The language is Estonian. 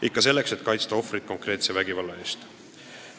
Ikka selleks, et kaitsta ohvrit konkreetse vägivalla eest.